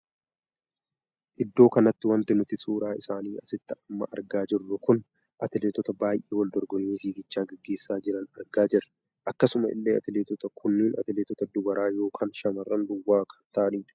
Iddoo kanatti wanti nuti suuraa isaanii asitti amma argaa jirru kun atileetota baay'ee wal dorgommii fiigichaa geggeessa jiran argaa jirra. akkasuma illee atileetootni kun atileetota dubaraa ykn shamarran duwwaa kan taa'aniidha.